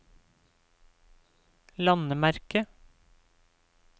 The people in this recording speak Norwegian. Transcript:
landemerke